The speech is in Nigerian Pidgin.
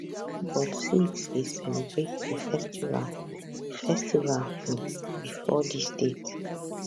but sikhs dey celebrate di festival di festival um bifor dis date